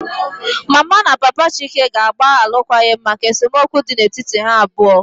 Mama na Papa Chike ga-agba alụkwaghịm maka esemokwu dị n'etiti ha abụọ